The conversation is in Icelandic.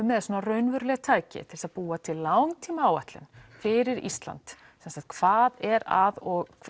með raunveruleg tæki til að búa til langtímaáætlun fyrir Ísland svo sem hvað er að og